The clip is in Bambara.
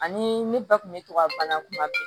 Ani ne ba kun bɛ to ka bana kuma bɛɛ